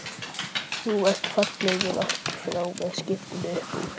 Þú ert fallegur aftan frá með skyrtuna upp úr.